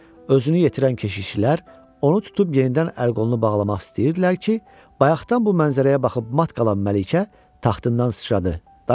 Özünü yetirən keşiyçilər onu tutub yenidən əl-qolunu bağlamaq istəyirdilər ki, bayaqdan bu mənzərəyə baxıb mat qalan Məlikə taxtından sıçradı.